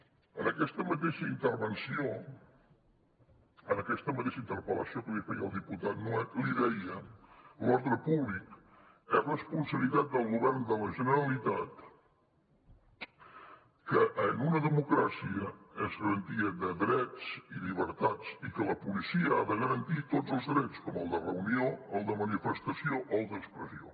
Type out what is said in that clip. en aquesta mateixa intervenció en aquesta mateixa interpel·lació que li feia el diputat nuet li deia que l’ordre públic és responsabilitat del govern de la generalitat que en una democràcia és garantia de drets i llibertats i que la policia ha de garantir tots els drets com el de reunió el de manifestació o d’expressió